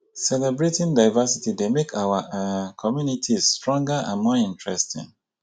celebrating diversity dey make our um communities stronger and more interesting.